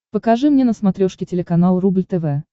покажи мне на смотрешке телеканал рубль тв